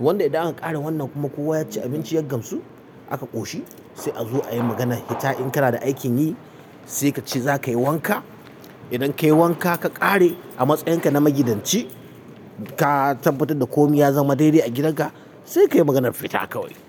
Wanda idan an ƙare wannan kuma kowa ya ci abinci ya gamsu aka ƙoshi sai a zo ayi maganar ita in kana da aikin yi sai kace zakayi wanka. Idan kayi wanka ka ƙare a matsayin ka na maigidanci ka tabbatar da komai ya zama daidai a gidanka sai kayi maganar fita kawai.